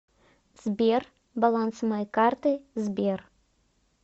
сбер баланс моей карты сбер